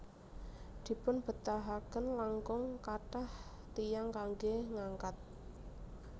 Dipunbetahaken langkung kathah tiyang kanggé ngangkat